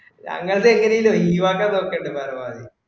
ഞങ്ങളത് എങ്ങനേലും ഈവാക്കാന് നോക്കണ്ടി ഭാരവാഹി